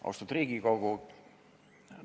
Austatud Riigikogu!